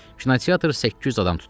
Kinoteatr 800 adam tuturdu.